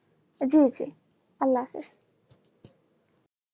জি জি আল্লাহাফিজ